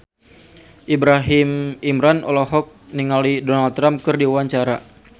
Ibrahim Imran olohok ningali Donald Trump keur diwawancara